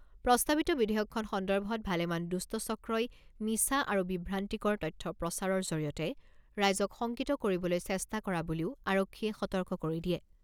প্ৰস্তাৱিত বিধেয়কখন সন্দৰ্ভত ভালেমান দুষ্ট চক্ৰই মিছা আৰু বিভ্ৰান্তিকৰ তথ্য প্ৰচাৰৰ জৰিয়তে ৰাইজক শংকিত কৰিবলৈ চেষ্টা কৰা বুলিও আৰক্ষীয়ে সতৰ্ক কৰি দিয়ে।